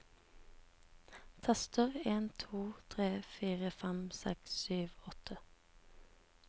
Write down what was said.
Tester en to tre fire fem seks sju åtte